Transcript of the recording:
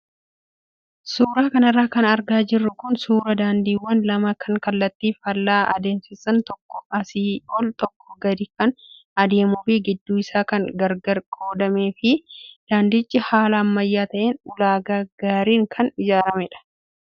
Suuraa kanarra kan argaa jirru kun suuraa daandiiwwan lama kan kallattii faallaa adeemsisan tokko asii ol tokko gadi kan adeemuu fi gidduu isaa kan gargar qoodamee fi daandichi haala ammayyaa ta'een ulaagaa gaariin kan ijaaramedha.